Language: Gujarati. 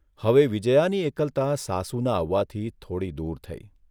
હવે વિજ્યાની એકલતા સાસુના આવવાથી થોડી દૂર થઇ.